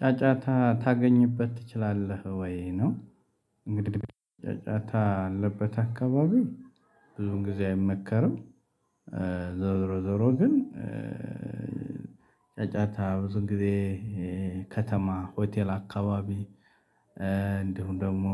ጫጫታ ልታገኝበት ትችላለህ ወይ ነው? እንግዲህ ጫጫታ ያለበት አካባቢ ብዙ ጊዜ አይመከርም። ዞሮ ዞሮ ግን። ጫጫታ ብዙ ግዜ ከተማ ሆቴል አካባቢ እንዲሁም ደግሞ